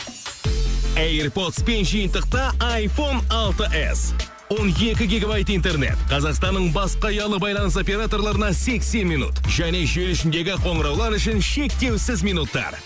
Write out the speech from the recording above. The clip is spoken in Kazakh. эйрпотспен жиынтықта айфон алты с он екі гигабайт интернет қазақстанның басқа ұялы байланыс операторларына сексен минут және желі ішіндегі қоңыраулар үшін шектеусіз минуттар